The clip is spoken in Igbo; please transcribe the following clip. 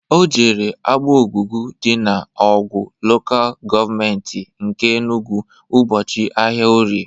O jere Agbogugu dị na Awgu Lokal Gọọmenti nke Enugwu ụbọchị ahịa orie